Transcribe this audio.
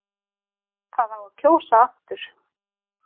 Það á að kjósa aftur